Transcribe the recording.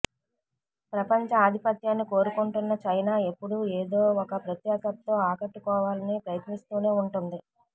ప్రపంచ ఆధిపత్యాన్ని కోరుకుంటున్న చైనా ఎప్పుడూ ఏదో ఒక ప్రత్యేకతతో ఆకట్టుకోవాలని ప్రయత్నిస్తూనే ఉంటుంది